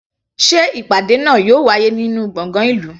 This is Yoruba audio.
Sé ìpàdé náà yóò wáyé ní gbọ̀ngàn ìlú?